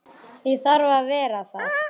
Ég þarf að vera þar.